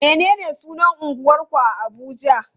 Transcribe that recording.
Menene sunan unguwarku a Abuja?